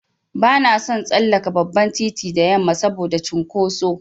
Bana son tsallaka babban titi da yamma saboda cunkoso.